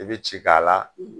I bɛ ci k'a la.